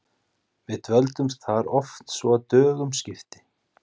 Við dvöldumst þar oft svo að dögum skipti.